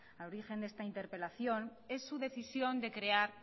al origen de esta interpelación es su decisión de crear